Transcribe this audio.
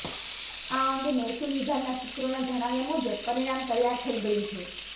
આ અંગે મહેસુલ વિભાગના સૂત્રોના જણાવ્યા મુજબ પરિણામ તૈયાર થઈ ગયુ છે